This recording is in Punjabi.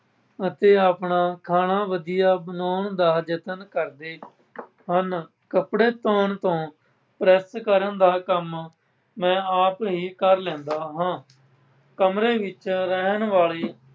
ਅਤੇ ਆਪਣਾ ਖਾਣਾ ਵਧੀਆ ਬਣਾਉਣ ਦਾ ਯਤਨ ਕਰਦੇ ਹਨ ਕੱਪੜੇ ਧੌਣ ਤੋਂ, ਪ੍ਰੈੱਸ ਕਰਨ, ਦਾ ਕੰਮ ਮੈਂ ਆਪ ਹੀ ਕਰ ਲੈਂਦਾ ਹਾਂ। ਕਮਰੇ ਵਿੱਚ ਰਹਿਣ ਵਾਲੇ